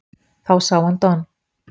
Þá sá hann Don